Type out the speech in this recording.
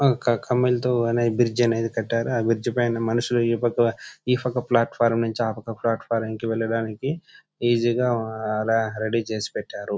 కమ్మలతో అనే బ్రిడ్జి అనేది కట్టారు. ఆ బ్రిడ్జి పైన మనుషులు ఇప్పక ఫ్లాట్ఫారం నుంచి ఆపక ఫ్లాట్ఫారం కి వెళ్ళడానికి ఈజీ గ రెడీ చేసి పెట్టారు.